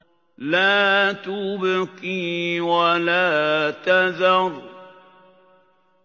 لَا تُبْقِي وَلَا تَذَرُ